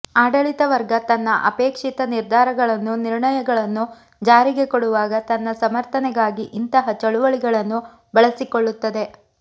ಆಡಳಿತ ವರ್ಗ ತನ್ನ ಅಪೇಕ್ಷಿತ ನಿರ್ಧಾರಗಳನ್ನು ನಿರ್ಣಯಗಳನ್ನು ಜಾರಿಗೆ ಕೊಡುವಾಗ ತನ್ನ ಸಮರ್ಥನೆಗಾಗಿ ಇಂತಹ ಚಳುವಳಿಗಳನ್ನು ಬಳಸಿಕೊಳ್ಳುತ್ತದೆ